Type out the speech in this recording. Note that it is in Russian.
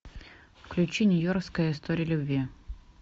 включи нью йоркская история любви